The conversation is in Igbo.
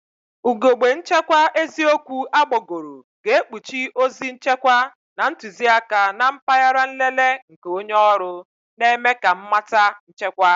Ugogbe nchekwa eziokwu agbagoro ga-ekpuchi ozi nchekwa na ntuziaka na mpaghara nlele nke onye ọrụ, na-eme ka mmata nchekwa.